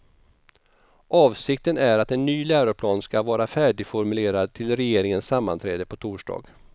Avsikten är att en ny läroplan skall vara färdigformulerad till regeringens sammanträde på torsdag.